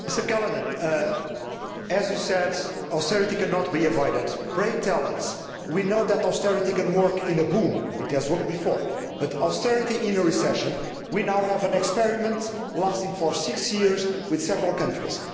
Mr Callanan, as you said, austerity cannot be avoided. Pray tell us we know that austerity can work in a boom it has worked before but austerity in a recession? We now have an experiment lasting for six years in several countries.